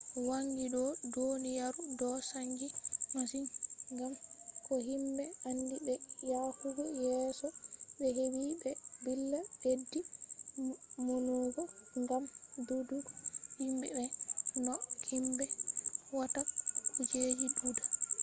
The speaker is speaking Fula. wangi do duniyaru do chanji masin gam ko himbe andi be yahugo yeso be hebi be billa beddi maunugo gam dudugo himbe be no himbe watta kujeji duda